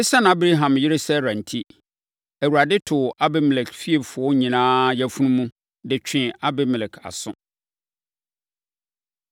Esiane Abraham yere Sara enti, Awurade too Abimelek fiefoɔ nyinaa yafunu mu, de twee Abimelek aso.